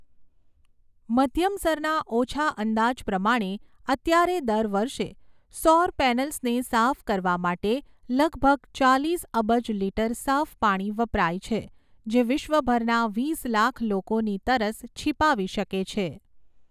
મધ્યમસરના ઓછા અંદાજ પ્રમાણે, અત્યારે દર વર્ષે સૌર પૅનલ્સને સાફ કરવા માટે લગભગ ચાલીસ અબજ લિટર સાફ પાણી વપરાય છે જે વિશ્વભરના વીસ લાખ લોકોની તરસ છિપાવી શકે છે.